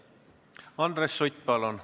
Andres Sutt, palun!